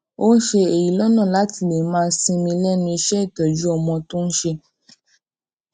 ó n ṣe èyí lọnà láti lè máa sinmi lẹnu iṣẹ ìtọjú ọmọ tó n ṣe